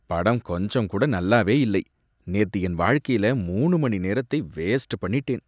படம் கொஞ்சம் கூட நல்லாவே இல்லை, நேத்து என் வாழ்க்கையில் மூணு மணி நேரத்தை வேஸ்ட் பண்ணிட்டேன்.